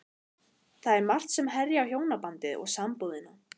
Það er margt sem herjar á hjónabandið og sambúðina.